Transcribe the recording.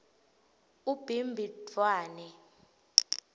ubhimbidvwane